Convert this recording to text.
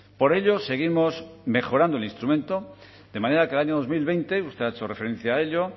por ello seguimos mejorando el instrumento de manera que el año dos mil veinte usted ha hecho referencia a ello